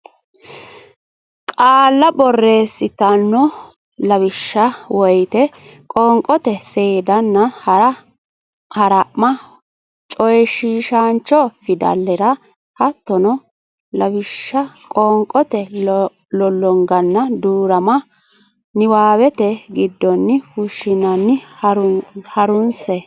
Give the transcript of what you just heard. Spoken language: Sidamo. qaalla borreessitanno Lawishsha woyte qoonqote seedanna hara ma coyshiishaancho fidalera hattono lawishsha qoonqote lollonganna duu rama niwaawete giddonni fushshanna ha runse.